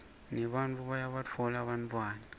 nebantfu bayabatfola bantfwana